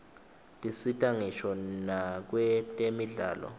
tisita ngisho nakwetemidlalo